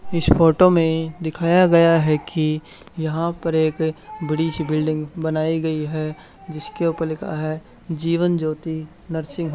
इस फोटो में दिखाया गया है कि यहां पर एक बड़ी सी बिल्डिंग बनाई गई है जिसके ऊपर लिखा है जीवन ज्योति नर्सिंग --